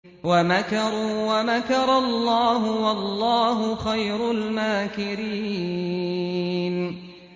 وَمَكَرُوا وَمَكَرَ اللَّهُ ۖ وَاللَّهُ خَيْرُ الْمَاكِرِينَ